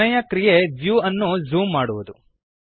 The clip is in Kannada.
ಕೊನೆಯ ಕ್ರಿಯೆ ವ್ಯೂ ಅನ್ನು ಝೂಮ್ ಮಾಡುವದು